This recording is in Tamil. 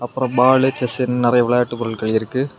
அப்புறம் பாலு செஸ்ன்னு நெறைய விளையாட்டு பொருட்கள் இருக்கு.